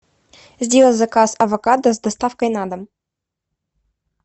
сделай заказ авокадо с доставкой на дом